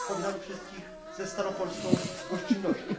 Powitamy wszystkich ze staropolską gościnnością.